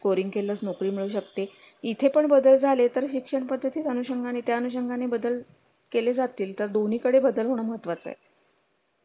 scoring केलं नोकरी मिळू शकते इथे पण बदल झाले तर शिक्षण पद्धतीचा नुषंगाने त्या अनुषंगाने बदल केले जातील तर दोन्हीकडे बदल होणे महत्त्वाचे आहे